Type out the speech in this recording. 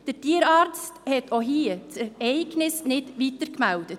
Der Tierarzt meldete auch hier das Ereignis nicht weiter.